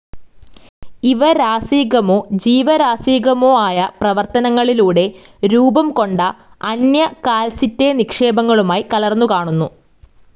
ഇവ രാസികമോ ജീവരാസികമോയായ പരിവർത്തനങ്ങളിലൂടെ രൂപംകൊണ്ട അന്യ കാൽസൈറ്റ്‌ നിക്ഷേപങ്ങളുമായി കലർന്നുകാണുന്നു.